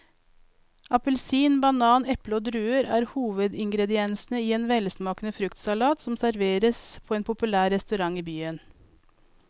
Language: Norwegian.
Appelsin, banan, eple og druer er hovedingredienser i en velsmakende fruktsalat som serveres på en populær restaurant i byen.